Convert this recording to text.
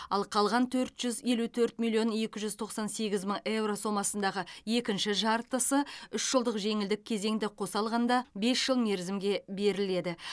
ал қалған төрт жүз елу төрт миллион екі жүз тоқсан сегіз мың еуро сомасындағы екінші жартысы үш жылдық жеңілдік кезеңді қоса алғанда бес жыл мерзімге беріледі